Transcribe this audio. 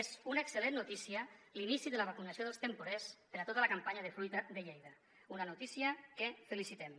és una excel·lent notícia l’inici de la vacunació dels temporers per a tota la campanya de fruita de lleida una notícia que felicitem